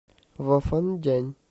вафандянь